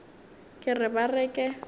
ke re ba re ke